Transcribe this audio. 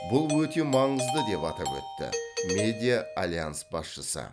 бұл өте маңызды деп атап өтті медиа альянс басшысы